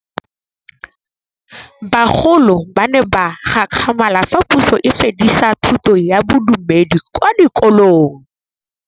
Bagolo ba ne ba gakgamala fa Pusô e fedisa thutô ya Bodumedi kwa dikolong.